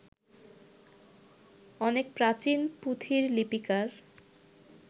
অনেক প্রাচীন পুঁথির লিপিকার